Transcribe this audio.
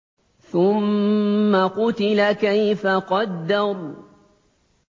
ثُمَّ قُتِلَ كَيْفَ قَدَّرَ